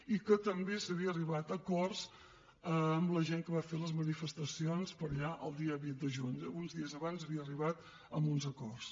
i que també s’havia arribat a acords amb la gent que va fer les manifestacions per allà el dia vint de juny uns dies abans s’havia arribat a uns acords